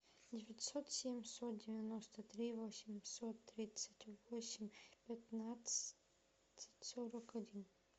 девятьсот семьсот девяносто три восемьсот тридцать восемь пятнадцать сорок один